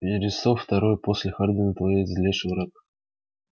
вересов второй после хардина твой злейший враг